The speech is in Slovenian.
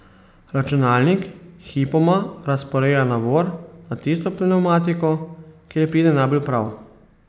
Računalnik hipoma razporeja navor na tisto pnevmatiko, kjer pride najbolj prav.